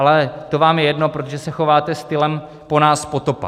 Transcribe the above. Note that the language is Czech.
Ale to vám je jedno, protože se chováte stylem po nás potopa.